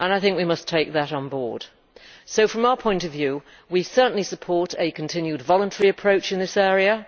We must take that on board. From our point of view, we certainly support a continued voluntary approach in this area.